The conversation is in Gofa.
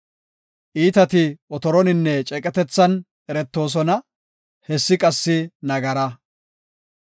Iitati otoroninne ceeqetethan eretoosona; hessi qassi nagara.